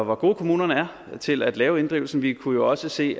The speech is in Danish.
hvor gode kommunerne er til at lave inddrivelsen vi kunne jo også se